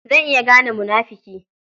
Zan iya gane munafuki.